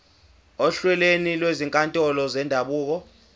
ohlelweni lwezinkantolo zendabuko